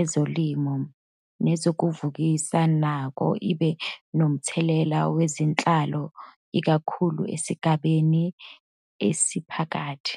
ezolimo, nezokuvukuza nakuba ibe nomthelela wezenhlalo ikakhulu esigabeni esiphakathi.